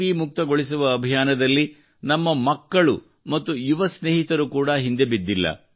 B ಮುಕ್ತಗೊಳಿಸುವ ಅಭಿಯಾನದಲ್ಲಿ ನಮ್ಮ ಮಕ್ಕಳು ಮತ್ತು ಯುವ ಸ್ನೇಹಿತರು ಕೂಡ ಹಿಂದೆ ಬಿದ್ದಿಲ್ಲ